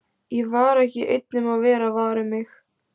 Ég var ekki einn um að vera var um mig.